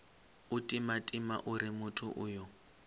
u timatima uri muthu uyo